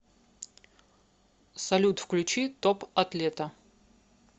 салют включи топ атлета